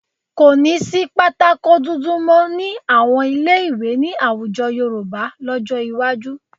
Kò ní sí pátákó dúdú mọ́ ní àwọn ilé-ìwé ní àwùjọ Yorùbá lọ́jọ́ iwájú